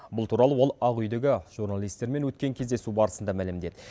бұл туралы ол ақ үйдегі журналистермен өткен кездесу барысында мәлімдеді